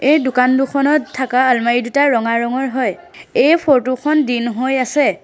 এই দোকান দুখনত থকা আলমাৰি দুটা ৰঙা ৰঙৰ হয় এই ফটো খন দিন হৈ আছে।